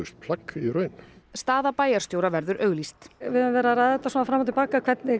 plagg í raun staða bæjarstjóra verður auglýst við höfum verið að ræða þetta fram og til baka